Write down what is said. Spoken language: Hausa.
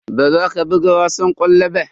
Baza ka buga wasan ƙwallon ba.